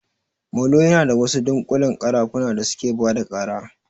Molo yana da wasu dunƙullen ƙarafuna da suke bada ƙara